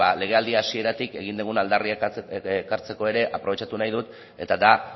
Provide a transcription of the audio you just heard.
legealdi hasieratik egin dugun aldarrikapena ekartzeko ere aprobetxatu nahi dut eta da